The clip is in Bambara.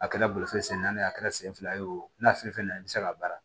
A kɛra bolifɛn sen naani ye a kɛra sen fila ye o n'a fɛn fɛn na i bɛ se k'a baara